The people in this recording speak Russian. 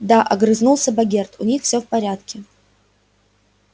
да огрызнулся богерт у них всё в порядке